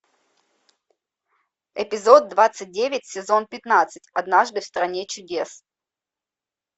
эпизод двадцать девять сезон пятнадцать однажды в стране чудес